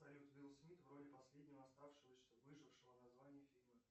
салют уилл смит в роли последнего оставшегося выжившего название фильма